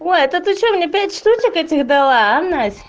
ой это ты что мне пять штук этих дала а насть